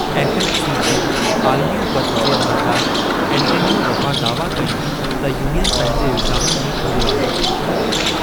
FMC जी आलमी उपति जे अमलदारु एंटोनियो रफ़्फ़ा दावा कई त यूनियन पंहिंजे इल्ज़ामुनि में कूड़ो आहे।